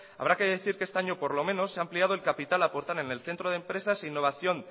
habrá que decir que este año por lo menos se ha ampliado el capital a aportar en el centro de empresas e innovación